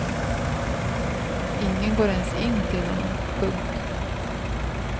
Ingen går ens in till honom. punkt